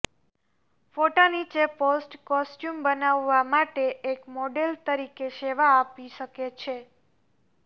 ફોટા નીચે post costume બનાવવા માટે એક મોડેલ તરીકે સેવા આપી શકે છે